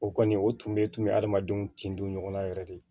O kɔni o tun bɛ tunun bɛ hadamadenw tin dɔn ɲɔgɔnna yɛrɛ de